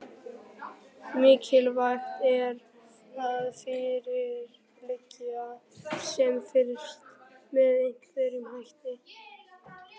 Mikilvægt er að fyrir liggi sem fyrst með hverjum hætti